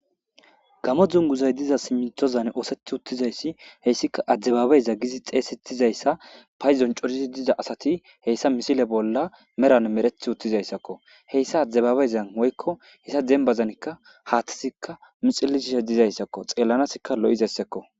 gamo dunguzay diza siminthozan ooseth uttizayssi heyssika adibaabeyza gizi xeesettizayssa payzon corizi diza asati heyssa misile bolla meran mereth uttizayssakko heyssa adibabeyzan woykko hessa dembazankka haathtisikka mixillisisha dizayssakko xeellanasikka lo7izeyssekko